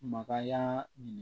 Makaya minɛ